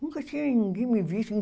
Nunca tinha ninguém que me visto em